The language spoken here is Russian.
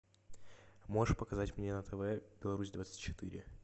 можешь показать мне на тв беларусь двадцать четыре